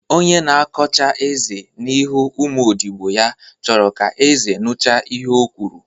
Onye na-akọ chaa eze n'ihu ụmụ odibo ya chọrọ ka eze nucha ihe ọ kwuru